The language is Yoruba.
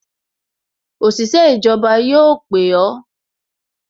Òṣìṣẹ́ ìjọba yóò pè o